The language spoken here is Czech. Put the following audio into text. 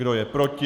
Kdo je proti?